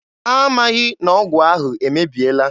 Ha amaghị na ọgwụ ahụ emebiela.